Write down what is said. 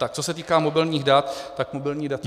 Tak co se týká mobilních dat, tak mobilní data -